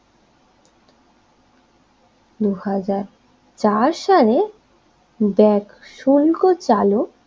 দুই হাজার চার সাল ব্যাগ শোলকো চালক